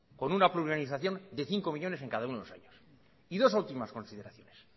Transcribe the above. con una organización de cinco millónes en cada uno de los años y dos últimas consideraciones